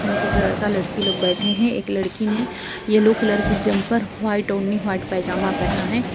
कुछ लड़का लड़की लोग बैठे हैं | एक लड़की ने येलो कलर की जम पर वाइट ओढनी वाइट पजामा पहना है ।